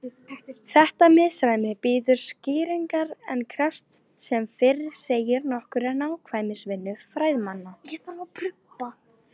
Þetta misræmi bíður skýringar en krefst sem fyrr segir nokkurrar nákvæmnisvinnu fræðimanna.